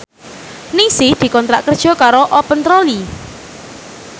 Ningsih dikontrak kerja karo Open Trolley